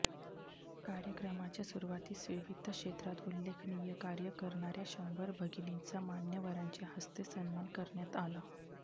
कार्यक्रमाच्या सुरवातीस विविध क्षेत्रात उल्लेखनीय कार्य करणाऱया शंभर भगिनींचा मान्यवरांच्या हस्ते सन्मान करण्यात आला